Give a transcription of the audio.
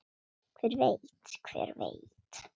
Hver veit, hver veit.